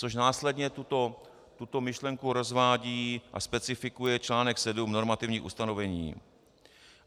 Což následně tuto myšlenku rozvádí a specifikuje článek VII Normativní ustanovení.